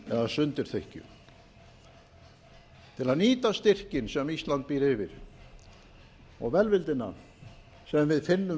eða sundurþykkju til að nýta styrkinn sem ísland býr yfir og velvildina sem við finnum